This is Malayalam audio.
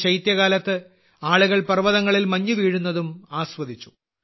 ഈ ശൈത്യകാലത്ത് ആളുകൾ പർവതങ്ങളിൽ മഞ്ഞുവീഴുന്നതും ആസ്വദിച്ചു